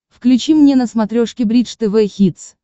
включи мне на смотрешке бридж тв хитс